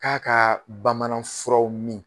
K'a kaa bamanan furaw min